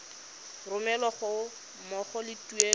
romelwa ga mmogo le tuelo